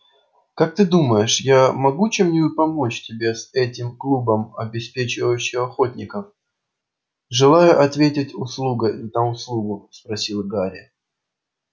как ты думаешь я могу чем-нибудь помочь тебе с этим клубом обеспечивающих охотников желая ответить услугой на услугу спросил гарри